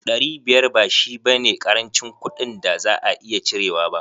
Dari biyar ba shi ba ne karancin kuɗin da za a iya cirewa ba.